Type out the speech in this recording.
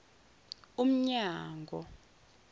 umnyango